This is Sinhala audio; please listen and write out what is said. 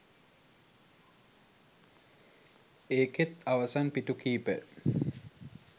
ඒකෙත් අවසන් පිටු කීපය